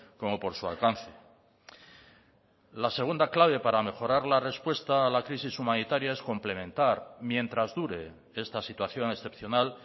como por su alcance la segunda clave para mejorar la respuesta a la crisis humanitaria es complementar mientras dure esta situación excepcional